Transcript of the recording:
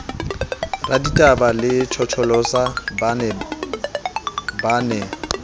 raditaba le tjhotjholosa ba ne